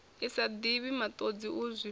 sa divhi matodzi u zwifhela